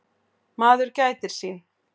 Maður gætir sín.